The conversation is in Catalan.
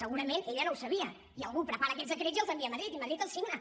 segurament ella no ho sabia i algú prepara aquests decrets i els envia a madrid i madrid els signa